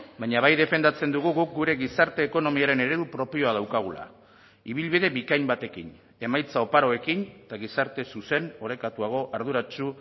baina bai defendatzen dugu guk gure gizarte ekonomiaren eredu propioa daukagula ibilbide bikain batekin emaitza oparoekin eta gizarte zuzen orekatuago arduratsu